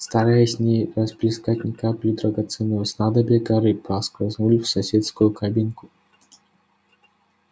стараясь не расплескать ни капли драгоценного снадобья гарри проскользнул в соседнюю кабинку